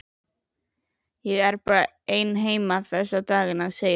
Ég er bara ein heima þessa dagana, segir hún.